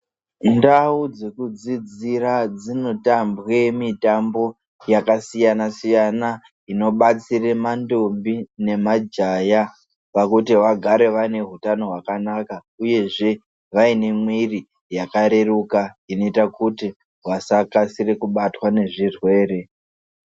Ndau dzekudzidzira dzinotambwe mitambo yakasiyana siyana inobatsire mandombi nemajaya pakuti vagare vane hutano hwakanaka uyezve vaine mwiri yakareruka inoite kuti vasakasire kubatwa nezvirwere.